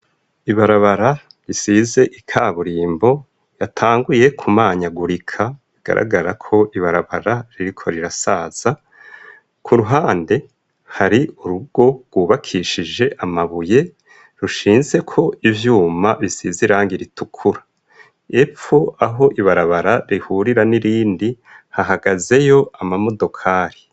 Ibarabara risize ikaburimbo yatanguye ku manyagurika bigaragara ko ibarabara ririko rirasaza ku ruhande hari urugo rwubakishije amabuye rushinze ko ivyuma bisize irangi ritukura epfo aho ibarabara rihurira n'irindi hahagazeyo ama modokari.